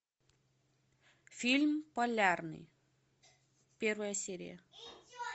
фильм полярный первая серия